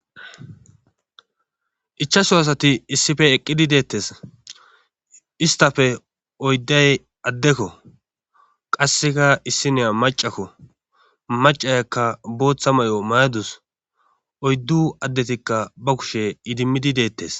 ichaso asati issife eqqidi deettes istafe oydday addekko qasseka issiniya macakko macayakka booththa may7o mayadus oyddu addetikka ba kushe idimmidi deettes